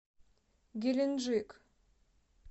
геленджик